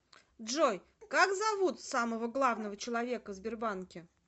джой как зовут самого главного человека в сбербанке